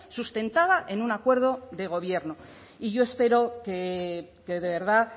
sustentada en un acuerdo de gobierno y yo espero que de verdad